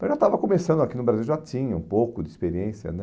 Mas já estava começando aqui no Brasil, já tinha um pouco de experiência, né?